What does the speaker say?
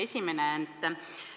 Esimene küsimus.